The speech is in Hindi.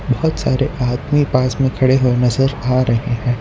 बहुत सारे आदमी पास में खड़े हुए नजर आ रहे हैं।